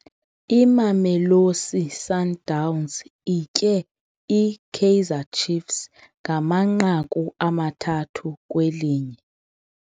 Imamelosi Sundowns itye iKaizer Chiefs ngamanqaku amathathu kwelinye.